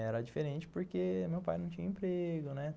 Era diferente porque meu pai não tinha emprego, né?